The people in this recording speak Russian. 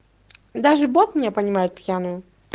даже боб меня понимает пьяную